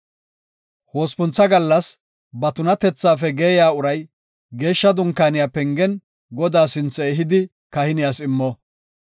Hospuntha gallas ba tunatethaafe geeyiya uray Geeshsha Dunkaaniya pengen Godaa sinthe ehidi kahiniyas immo.